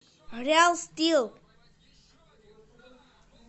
реал стил